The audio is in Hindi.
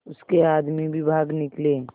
उसके आदमी भी भाग निकले